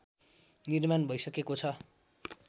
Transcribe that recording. निर्माण भइसकेको छ